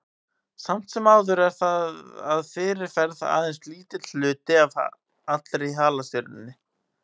Samt sem áður er það að fyrirferð aðeins lítill hluti af allri halastjörnunni.